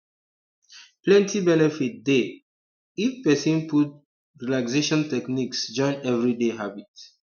plenty benefit dey um if person fit put um relaxation techniques join everyday habit